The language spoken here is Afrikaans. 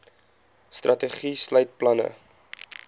strategie sluit planne